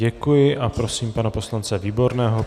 Děkuji a prosím pana poslance Výborného.